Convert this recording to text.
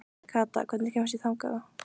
Kata, hvernig kemst ég þangað?